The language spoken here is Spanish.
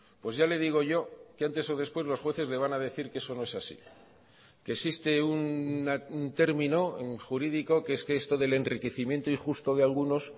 pues ya le digo yo que antes o después los jueces le van a decir que eso no es así que existe un término jurídico que es que esto del enriquecimiento injusto de algunos